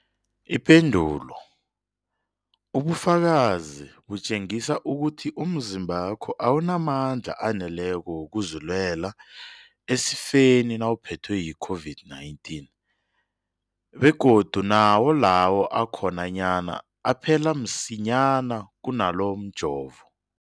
Ipendulo, ubufakazi butjengisa ukuthi umzimbakho awunamandla aneleko wokuzilwela esifeni nawuphethwe yi-COVID-19, begodu nawo lawo akhonyana aphela msinyana kunawomjovo.